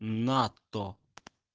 нато